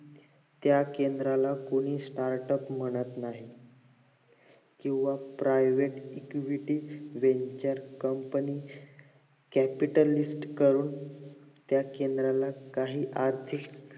त्या केंद्राला कोणी startup म्हणत नाही किंवा private equity welfare company capital with clients त्या ला काहीच अर्थ